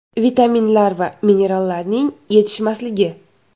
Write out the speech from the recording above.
Vitaminlar va minerallarning yetishmasligi .